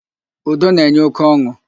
Udo na-enye óké ọn̄ụ.